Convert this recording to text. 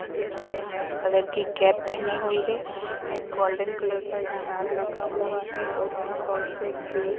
अ जिन्होंने red colour की cap पहनी हुई है एक गोल्डन कलर का स्टार लगा हुआ है और यहाँ बहोत से ग्रीन --